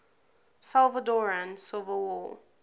salvadoran civil war